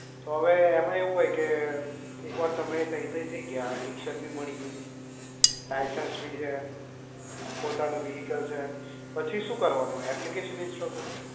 તો અવે એમાં એવું હોય કે એક વાર તમે તઇ તઇ થઇ ગયા ટીશર્ટ બી મળી ગઈ લાઇસન્સ બી છે પોતાનું vehicle છે પછી શું કરવાનું application install કરવાની